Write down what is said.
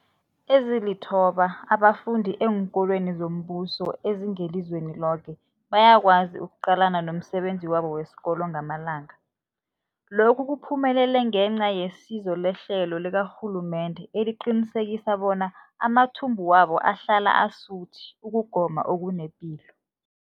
Ezilithoba abafunda eenkolweni zombuso ezingelizweni loke bayakwazi ukuqalana nomsebenzi wabo wesikolo wangamalanga. Lokhu kuphumelele ngenca yesizo lehlelo likarhulumende eliqinisekisa bona amathumbu wabo ahlala asuthi ukugoma okunepilo.